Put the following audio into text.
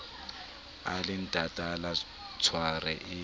a le natala tlhware e